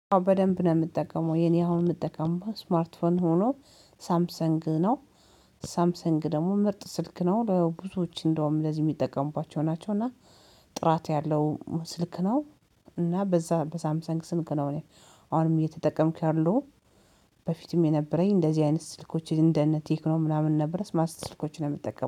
በደንብ ነው የምጠቀመው የኔ አሁን የምጠቀመው ስማርት ፎን ሆኖ ሳምሰንግ ነው ሳምሰንግ ደግሞ ምርጥ ስልክ ነው በብዙዎች እንደውም ለዚህ የሚጠቀሙባቸው ናቸው እና ጥራት ያለው ስልክ ነው እና በዛ በሳምሰንግ ስልክ አሁንም እየተጠቀምሁ ያለሁ። በፊትም የነበረኝ እንደዚህ አይነት ስልኮች እንደ እነ ቴክኖ ምናምን ነበረ ስማርት ስልኮችን ነው የምትጠቀመው